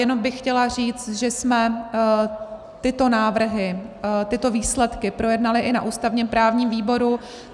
Jenom bych chtěla říct, že jsme tyto návrhy, tyto výsledky projednali i na ústavně-právním výboru.